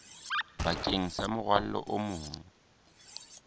bakeng sa morwalo o mong